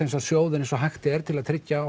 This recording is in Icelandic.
sjóði eins og hægt er til að tryggja